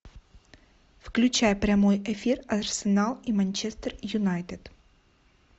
включай прямой эфир арсенал и манчестер юнайтед